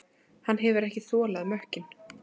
Hann hefur ekki þolað mökkinn.